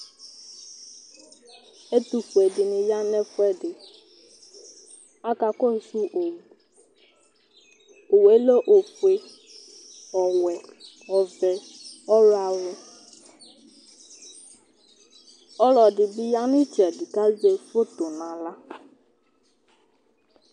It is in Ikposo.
Ɛtʋfue dɩnɩ ya nʋ ɛfʋɛdɩ Akakɔsʋ owu Owu yɛ lɛ ofue, ɔwɛ, ɔvɛ, ɔɣlɔawʋ Ɔlɔdɩ bɩ ya nʋ ɩtsɛdɩ kʋ azɛ foto nʋ aɣla